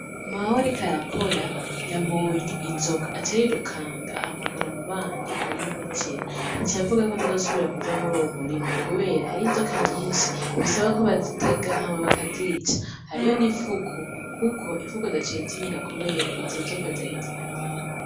Mawe, ariko arakora yabonye inzoka acarirukanga ahamagaro mu banyi arayimitira nica yavuga yko adazosubira kuja muri uwo murima, kubera hari inzoka nyinshi bisaba ko bazitega hamabaka zica hariho n'imfuku, kuko imfuku zacezinyika, kubera izo nzoka zari zyayu.